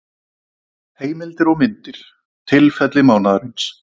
Heimildir og myndir: Tilfelli mánaðarins.